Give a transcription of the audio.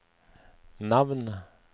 navn